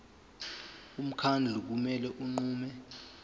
umkhandlu kumele unqume